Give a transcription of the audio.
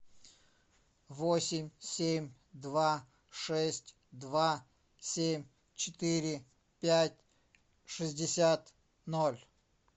восемь семь два шесть два семь четыре пять шестьдесят ноль